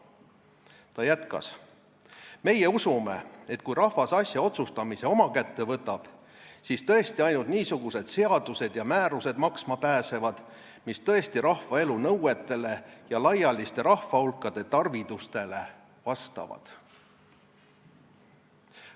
Ta jätkas: "Meie usume, et kui rahvas asja otsustamise oma kätte võtab, siis tõesti ainult niisugused seadused ja määrused maksma pääsevad, mis tõesti rahva elu nõuetele ja laialiste rahvahulkade tarvidustele vastavad.